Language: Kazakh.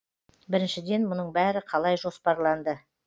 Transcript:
біріншіден мұның бәрі қалай жоспарланды